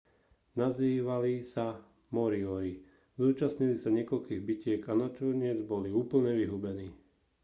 nazývali sa moriori zúčastnili sa niekoľkých bitiek a nakoniec boli úplne vyhubení